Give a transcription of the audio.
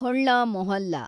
Holla Mohalla